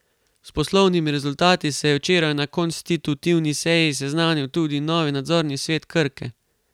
S poslovnimi rezultati se je včeraj na konstitutivni seji seznanil tudi novi nadzorni svet Krke.